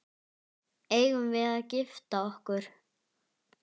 Eigum við að gifta okkur?